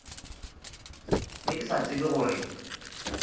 be ke sa tsebe gore